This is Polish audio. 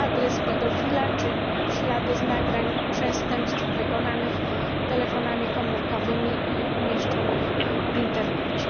adres pedofila czy ślady z nagrań przestępstw, wykonanych telefonami komórkowymi i umieszczonych w Internecie.